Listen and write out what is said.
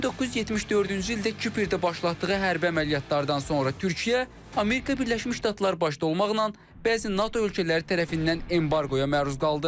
1974-cü ildə Küperdə başlatdığı hərbi əməliyyatlardan sonra Türkiyə, Amerika Birləşmiş Ştatlar başda olmaqla, bəzi NATO ölkələri tərəfindən embarqoya məruz qaldı.